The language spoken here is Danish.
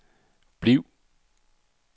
bliv